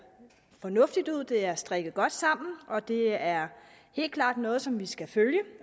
fornuftigt ud det er strikket godt sammen og det er helt klart noget som vi skal følge